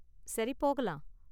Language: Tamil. சரி போகலாம்.